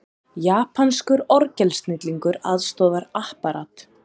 Japanskur orgelsnillingur aðstoðar Apparat